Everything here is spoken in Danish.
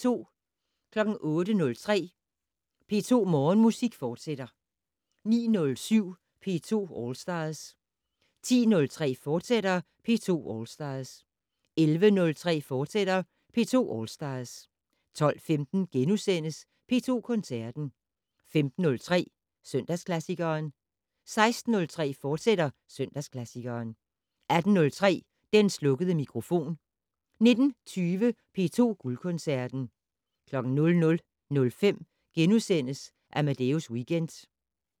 08:03: P2 Morgenmusik, fortsat 09:07: P2 All Stars 10:03: P2 All Stars, fortsat 11:03: P2 All Stars, fortsat 12:15: P2 Koncerten * 15:03: Søndagsklassikeren 16:03: Søndagsklassikeren, fortsat 18:03: Den slukkede mikrofon 19:20: P2 Guldkoncerten 00:05: Amadeus Weekend *